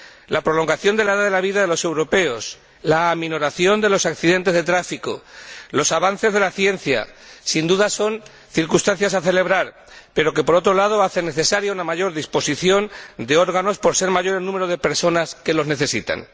La prolongación de la edad de vida de los europeos, la aminoración de los accidentes de tráfico y los avances de la ciencia son sin duda circunstancias que celebrar, pero, por otro lado, hacen necesaria una mayor disposición de órganos por ser mayor el número de personas que los necesitan.